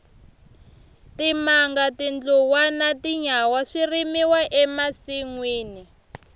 timanga tindluwa na tinyawa swi rimiwa e masinwini